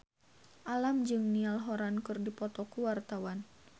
Alam jeung Niall Horran keur dipoto ku wartawan